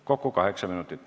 Kokku kaheksa minutit.